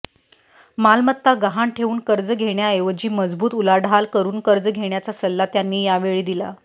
मालमत्ता गहाण ठेवून कर्ज घेण्याऐवजी मजबूत उलाढाल करून कर्ज घेण्याचा सल्ला त्यांनी यावेळी दिला